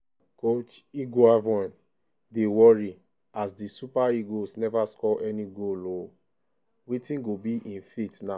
coach eguavoen dy worry as di super eagles neva score any goal ooo wetin go be im fate now.